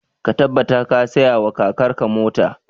Ka tabbata ka saya wa kakar ka mota!